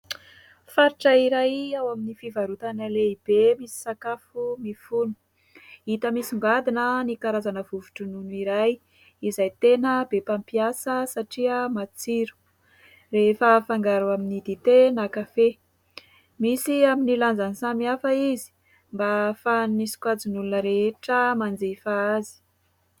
Faritra iray ao amin'ny fivarotana lehibe misy sakafo mifono. Hita misongadina ny karazana vovo-dronono iray izay tena be mpampiasa saria matsiro, rehefa afangaro amin'ny dite na kafe. Misy amin'ny lanjany samihafa izy fa ahafahan'ny sokajin'olona rehetra manjifa azy.